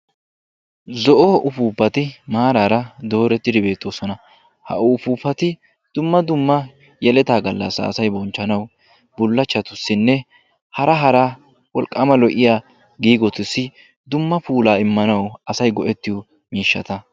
Zo'o upuupati maararadoorettidi beettoosona. ha upuupati dumma dumma yeletaa gallassaa asay bonchchanawu bullachchatussinne hara hara wolqqaama lo'yaa giigotussi dumma puulaa immanawu asay go"ettiyoo miishshata.